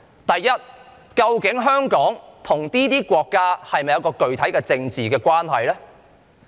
第一，究竟香港與這些國家是否有具體的政治關係？